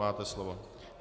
Máte slovo.